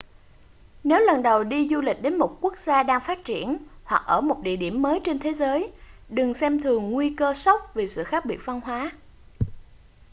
nếu lần đầu đi du lịch đến một quốc gia đang phát triển hoặc ở một địa điểm mới trên thế giới đừng xem thường nguy cơ sốc vì sự khác biệt văn hóa